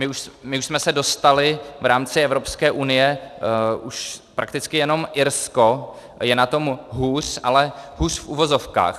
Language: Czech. My už jsme se dostali v rámci Evropské unie - už prakticky jenom Irsko je na tom hůř, ale hůř v uvozovkách.